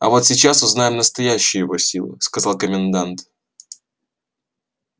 а вот сейчас узнаем настоящую его силу сказал комендант